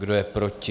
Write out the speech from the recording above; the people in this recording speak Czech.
Kdo je proti?